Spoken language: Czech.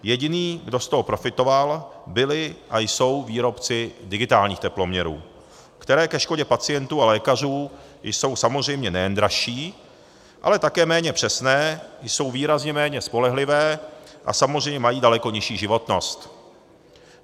Jediný, kdo z toho profitoval, byly a jsou výrobci digitálních teploměrů, které ke škodě pacientů a lékařů jsou samozřejmě nejen dražší, ale také méně přesné, jsou výrazně méně spolehlivé a samozřejmě mají daleko nižší životnost.